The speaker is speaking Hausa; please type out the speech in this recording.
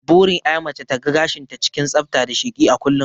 Burin ƴa mace ta ga gashin ta cikin tsafta da sheki a kullun